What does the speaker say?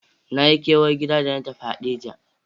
Na yi kewar gida da na tafi Hadeja.